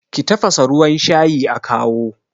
ki tafasa ruwan shayi a kawo?